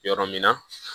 Yɔrɔ min na